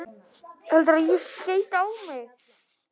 Þetta gekk framar öllum vonum.